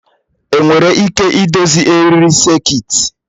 Enwere ike idozi eriri sekit?